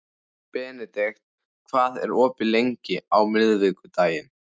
Benedikt, hvað er opið lengi á miðvikudaginn?